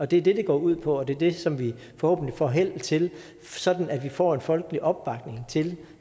det er det det går ud på og det er det som vi forhåbentlig får held til sådan at vi får en folkelig opbakning til